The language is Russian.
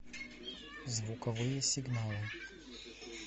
звуковые сигналы